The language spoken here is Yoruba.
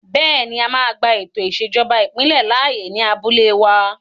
Bẹ́ẹ̀ni, a máa gba ètò ìṣèjọba ìbílẹ̀ láàyè ní abúlé wa